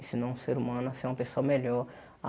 Ensinou um ser humano a ser uma pessoa melhor.